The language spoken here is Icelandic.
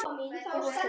Úlfar Steinn.